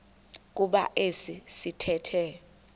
kuba esi sithethe